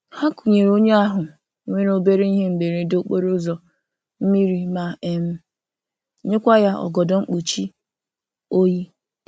Ha kunyere onye ahụ nwere obere ihe mberede okporo ụzọ, mmiri ma um nyekwa ya ọgọdọ mkpuchi oyi.